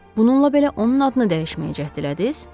Bununla belə onun adını dəyişməyə cəhd elədiniz?